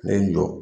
Ne ye n jɔ